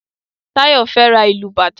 Tayo fè rá ilú bàtá